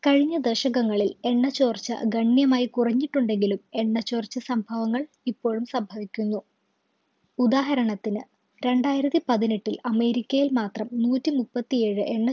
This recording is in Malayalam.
കഴിഞ്ഞ ദശകങ്ങളിൽ എണ്ണ ചോർച്ച ഗണ്യമായി കുറഞ്ഞിട്ടുണ്ടെങ്കിലും എണ്ണ ചോർച്ച സംഭവങ്ങൾ ഇപ്പോഴും സംഭവിക്കുന്നു ഉദാഹരണത്തിന് രണ്ടായിരത്തി പതിനെട്ടിൽ അമേരിക്കയിൽ മാത്രം നൂറ്റി മുപ്പത്തി ഏഴ് എണ്ണ